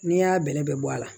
N'i y'a bɛrɛbɛrɛ bɔ a la